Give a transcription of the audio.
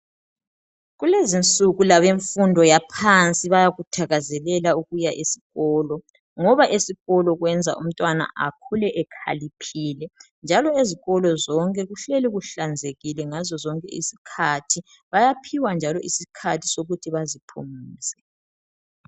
Kulezinsuku kulabemfundo yaphansi bayakuthakezelela ukuya esikolo ngoba esikolo kwenza umntwana akhule ekhaliphile njalo ezikolo zonke kuhleli kuhlanzekile ngasosonke isikhathi. Bayaphiwa njalo isikhathi sokuthi baziphumuze.